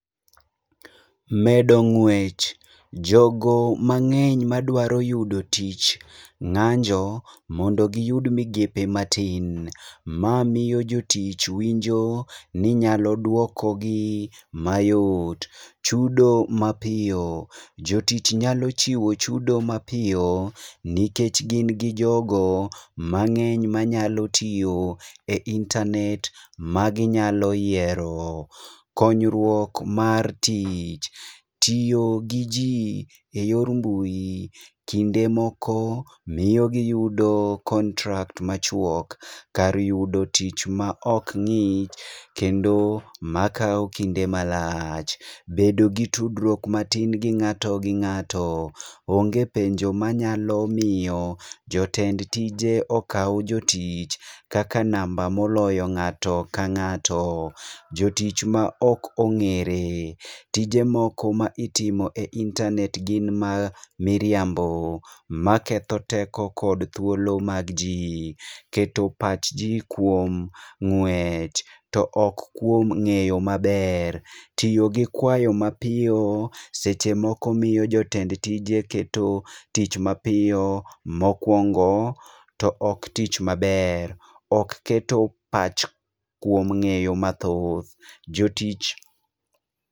Medo ng'wech: jogo mang'eny madwaro yudo tich ng'anjo mondo giyud migepe matin. Ma miyo jotich winjo ni nyalo dwokogi mayot. Chudo mapiyo: jotich nyalo chiwo chudo mapiyo nikech gin gi jogo mang'eny ma nyalo tiyo e internet ma ginyalo yiero. Konyruok mar tich: tiyo gi ji e yor mbui, kinde moko miyo giyudo kontrakt machuok kar yudo tich ma ok ng'ik, kendo makao kinde malach. Bedo gi tudruok matin gi ng'ato gi ng'ato: onge penjo manyalo miyo jotend tije okaw jotich kaka namba moloyo ng'ato ka ng'ato. Jotich ma ok ong'ere: tije moko ma itimo e internet gin ma miriambo. Maketho teko kod thuolo mag ji, keto pach ji kuom ng'wech to ok kuom ng'eyo maber. Tiyo gi kwayo mapiyo seche moko miyo jotend tije keto tich mapiyo, mokwongo to ok tich maber. Ok keto pach kuom ng'eyo mathoth. Jotich.